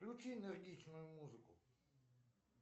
включи энергичную музыку